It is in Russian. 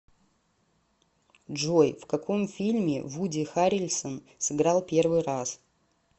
джой в каком фильме вуди харрельсон сыграл первый раз